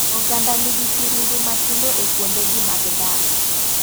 Oganda ni gi kirundu matindo e kuonde gi mag dak.